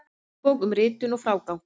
Handbók um ritun og frágang.